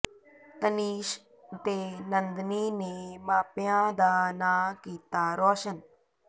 ਤਨੀਸ਼ ਤੇ ਨੰਦਨੀ ਨੇ ਮਾਪਿਆਂ ਦਾ ਨਾਂ ਕੀਤਾ ਰੌਸ਼ਨ